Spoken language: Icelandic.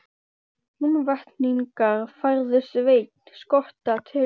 Húnvetningar færðu Svein skotta til þings.